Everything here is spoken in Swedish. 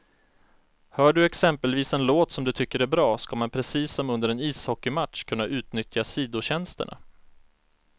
Hör du exempelvis en låt som du tycker är bra, ska man precis som under en ishockeymatch kunna utnyttja sidotjänsterna.